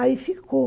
Aí ficou.